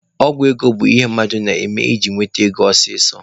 Ọgwụ ego bụ ihe mmadụ na-eme iji nweta ego ọsọsọ.